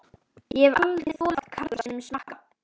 Ég hef aldrei þolað karla sem smakka.